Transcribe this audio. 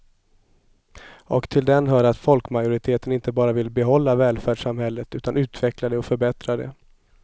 Och till den hör att folkmajoriteten inte bara vill behålla välfärdssamhället utan utveckla och förbättra det.